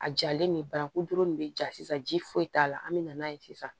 A jalen nin bananku dɔrɔn de be ja sisan ji foyi t'a la an mi na n'a ye sisan